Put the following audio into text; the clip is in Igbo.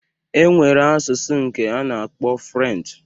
E nwere asụsụ nke a na-akpọ Frenchi